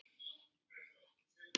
Það gera sumar þjóðir.